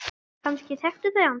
Kannski þekktu þau hann.